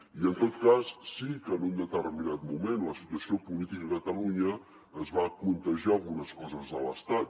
i en tot cas sí que en un determinat moment la situació política a catalunya es va contagiar d’algunes coses de l’estat